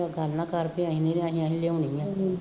ਕਰਨਾ ਕਰ ਅਤੇ ਅਸੀਂ ਨਹੀਂ ਅਸੀਂ ਤਾਂ ਲਿਆਉਣੀ ਹੈ